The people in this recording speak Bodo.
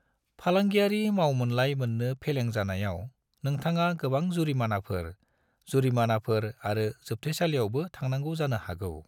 फालांगियारि मावमोनलाइ मोननो फेलें जानायाव नोंथाङा गोबां जुरिमानाफोर, जुरिमानाफोर आरो जोबथेसालियावबो थांनांगौ जानो हागौ।